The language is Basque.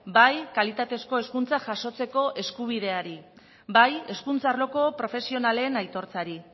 bai kalitatezko hezkuntza jasotzeko eskubideari bai hezkuntza arloko profesionalen aitortzari